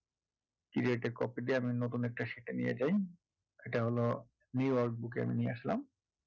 creat a copy দিয়ে আমি নতুন একটা sheet এ নিয়ে যাই এটা হলো new workbook এ আমি নিয়ে আসলাম